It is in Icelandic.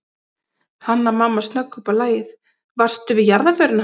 Hanna-Mamma snögg upp á lagið:- Varstu við jarðarförina hans